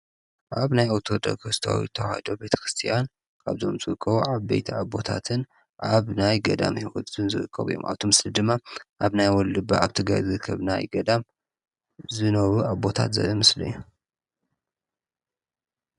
ኣብ ናይ ኣቶ ደ ኸስተዊት ተውዶ ቤተ ክርስቲያን ካብ ዞም ጽክ ዓብ ቤይቲ ኣቦታትን ኣብ ናይ ገዳም ሕይወት ዝንዘወቆ ይም ኣብቱ ምስል ድማ ኣብ ናይ ወሉብ ኣብቲ ጋይዝ ኽብ ናይ ገዳም ዝኖቡ ኣቦታት ዘበ ምስሉ እዩ።